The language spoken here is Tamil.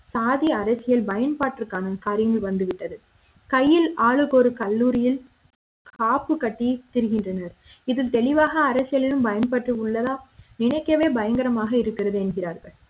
சாதி அரசியல் பயன்பாட்டுக்கான காரியம் வந்துவிட்டது கையில் ஆளுக்கொரு கல்லூரியில் காப்பு கட்டி திரிகின்றனர் இதில் தெளிவாக அரசியலும் பயன்பட்டு உள்ளதா நினைக்க வே பயங்கரமாக இருக்கிறது என்கிறார்கள்